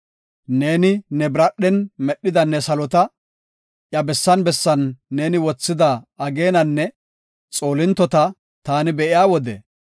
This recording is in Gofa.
Neeni ne biradhen medhida ne salota, iya bessan bessan neeni wothida ageenanne xoolintota taani be7iya wode,